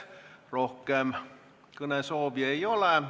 Rohkem kõnesoove ei ole.